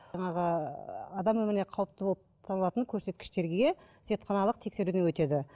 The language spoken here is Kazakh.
жаңағы адам өміріне қауіпті болып табылатын көрсеткіштерге зертханалық тексеруден өтеді